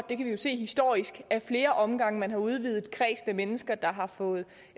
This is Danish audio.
det kan vi jo se historisk at flere omgange man har udvidet kredsen af mennesker der har fået